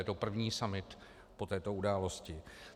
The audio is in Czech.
Je to první summit po této události.